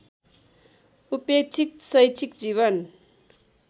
उपेक्षित शैक्षिक जीवन